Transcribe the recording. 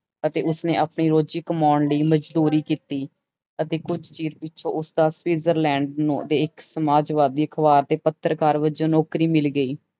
ਅਤੇ ਉਸਨੇ ਆਪਣੀ ਰੋਜ਼ੀ ਕਮਾਉਣ ਲਈ ਮਜ਼ਦੂਰੀ ਕੀਤੀ ਅਤੇ ਕੁੱਝ ਚਿਰ ਪਿੱਛੋਂ ਉਸਦਾ ਸਵਿਜ਼ਰਲੈਂਡ ਦੇ ਇੱਕ ਸਮਾਜਵਾਦੀ ਅਖ਼ਬਾਰ ਦੇ ਪੱਤਰਕਾਰ ਵਜੋਂ ਨੌਕਰੀ ਮਿਲ ਗਈ।